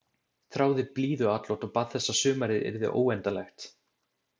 Þráði blíðuatlot og bað þess að sumarið yrði óendanlegt.